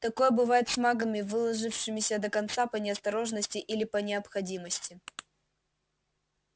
такое бывает с магами выложившимися до конца по неосторожности или по необходимости